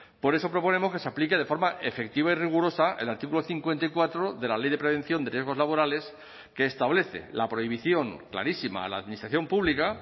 por eso proponemos que se aplique de forma efectiva y rigurosa el artículo cincuenta y cuatro de la ley de prevención de riesgos laborales que establece la prohibición clarísima a la administración pública